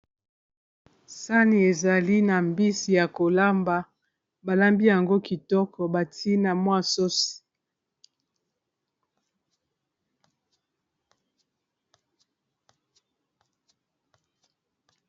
Sani ezali na mbisi ya kolamba, balambi yango kitoko bati na mwa sosi.